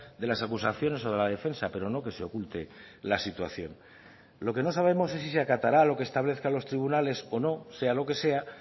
de las acusaciones o de la defensa pero no que se oculte la situación lo que no sabemos es si se acatará lo que establezca los tribunales o no sea lo que sea